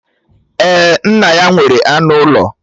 Èè, nna ya nwere anụ ụlọ